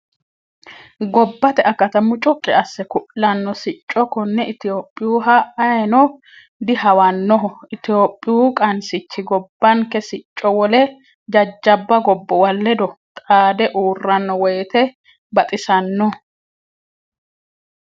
Gobbate akata mucuqi asse ku'lano sicco kone itophiyuha ayeeno dihawanoho itophiyu qansichi gobbanke sicco wole jajjabba gobbuwa ledo xaade uurrano woyte baxisano.